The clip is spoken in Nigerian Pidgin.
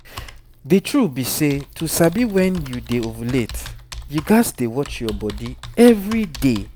the true be say to sabi when you dey ovulate you gats dey watch your body every day